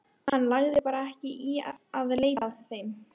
Hann lagði bara ekki í að leita að þeim.